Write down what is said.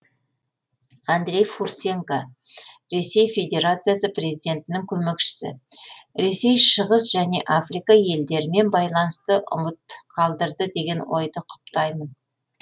андрей фурсенко ресей федерациясы президентінің көмекшісі ресей шығыс және африка елдерімен байланысты ұмыт қалдырды деген ойды құптаймын